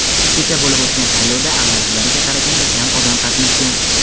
kecha bo‘lib o‘tgan saylovda avvalgilariga qaraganda kam odam qatnashgan.